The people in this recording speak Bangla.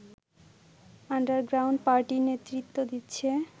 আন্ডারগ্রাউন্ড পার্টির নেতৃত্ব দিচ্ছে